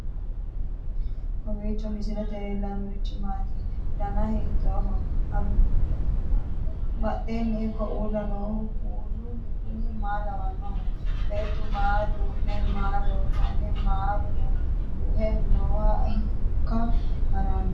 kowiicho misilete leellanorichi maati ? dana hiittooho ?abadhhenni ikko uulla noohu kuulu kuni maa lawannoho? beettu maa duhe maa loosanni maa duhe nooho hiikka haranno